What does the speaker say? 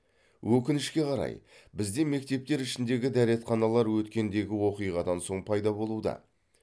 өкінішке қарай бізде мектептер ішіндегі дәретханалар өткендегі оқиғадан соң пайда болуда